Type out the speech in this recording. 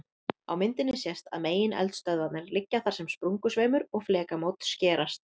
Á myndinni sést að megineldstöðvarnar liggja þar sem sprungusveimur og flekamót skerast.